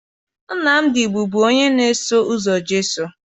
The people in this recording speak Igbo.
Nnamdị bụbu onye na-eso ụzọ Jesu